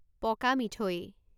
পকা মিঠৈ